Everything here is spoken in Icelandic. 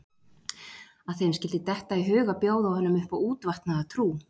Að þeim skyldi detta í hug að bjóða honum upp á útvatnaða trú?